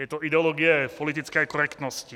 Je to ideologie politické korektnosti.